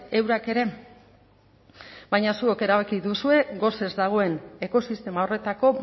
eurak ere baina zuok erabaki duzue gosez dagoen ekosistema horretako